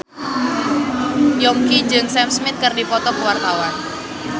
Yongki jeung Sam Smith keur dipoto ku wartawan